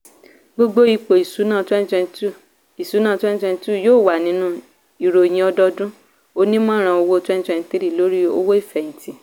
gbogbo ipò ìṣúná twenty twenty two ìṣúná twenty twenty two yóò wà nínú ìròyìn ọdọọdún onímọ̀ràn owó twenty twenty threelórí owó ìfẹ̀hìntì.